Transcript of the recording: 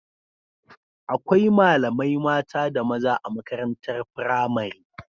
Akwai malamai mata da maza a makarantar pramari